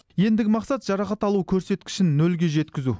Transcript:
ендігі мақсат жарақат алу көрсеткішін нөлге жеткізу